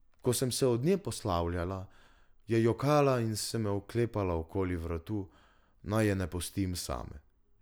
Ko sem se od nje poslavljala, je jokala in se me oklepala okoli vratu, naj je ne pustim same.